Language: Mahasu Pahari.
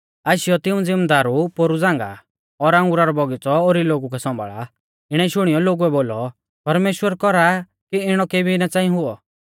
आशीयौ तिऊं ज़िमदारु पोरु झ़ांगा और अंगुरा रौ बौगीच़ौ ओरी लोगु कै सौंभाल़ा इणै शुणियौ लोगुऐ बोलौ परमेश्‍वर कौरा कि इणौ केबी ना च़ांई हुऔ